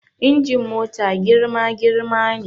Injin mota girma girma ne